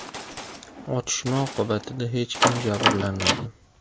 Otishma oqibatida hech kim jabrlanmagan.